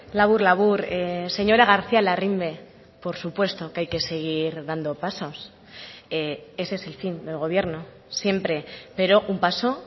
labur labur señora garcía larrimbe por supuesto que hay que seguir dando pasos ese es el fin del gobierno siempre pero un paso